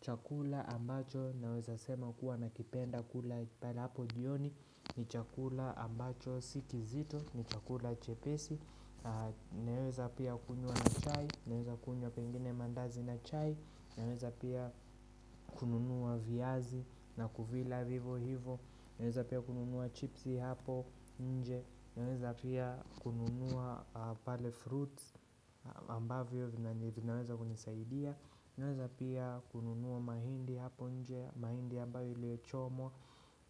Chakula ambacho naweza sema kuwa na kipenda kula panapo jioni ni chakula ambacho si kizito ni chakula chepesi Naweza pia kunywa na chai, naweza kunywa pengine mandazi na chai, naweza pia kununua viazi na kuvila vivo hivo Naweza pia kununua chipsi hapo nje, naweza pia kununua pale fruits ambavyo vina vinaweza kunisaidia Naweza pia kununua mahindi hapo nje, mahindi ambayo imechomwa